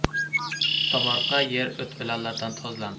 Tomorqa yer o‘t-o‘lanlardan tozalandi.